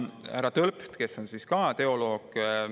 Härra Tölpt, kes on ka teoloog,.